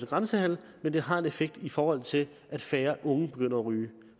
grænsehandelen men at det har en effekt i forhold til at færre unge begynder at ryge